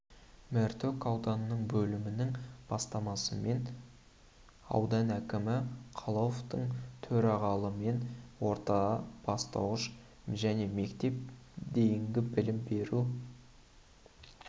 мәртөк ауданының бөлімінің бастамасымен аудан әкімі қалауовтың төрағалымен орта бастауыш және мектепке дейінгі білім беру беру